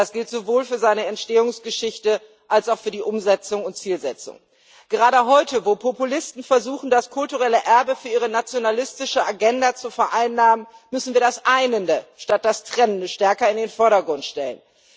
Das gilt sowohl für seine Entstehungsgeschichte als auch für die Umsetzung und Zielsetzung. Gerade heute, wo Populisten versuchen, das kulturelle Erbe für ihre nationalistische Agenda zu vereinnahmen, müssen wir das Einende statt des Trennenden stärker in den Vordergrund stellen.